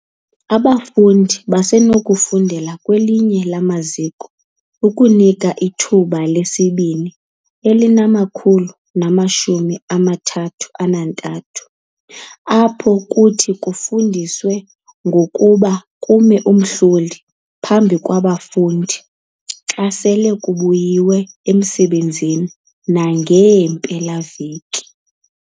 Abafundi basenokuzifundela okanye kwelinye lamaziko okuNika iThuba leSibini ali-133 apho kuthi kufundiswe ngokuthi kume umhlohli phambi kwabafundi xa sele kubuyiwe emisebenzini nangeempela-veki.